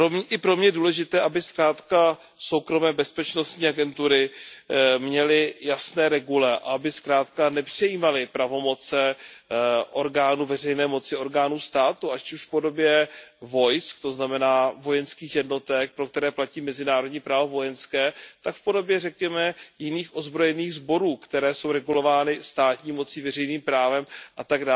I pro mě je důležité, aby zkrátka soukromé bezpečnostní agentury měly jasné regule a aby nepřejímaly pravomoci orgánů veřejné moci, orgánů státu, ať už v podobě vojsk, to znamená vojenských jednotek, pro které platí mezinárodní právo vojenské, tak v podobě řekněme jiných ozbrojených sborů, které jsou regulovány státní mocí, veřejným právem atd.